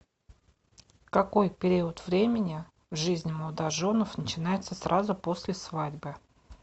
какой период времени в жизни молодоженов начинается сразу после свадьбы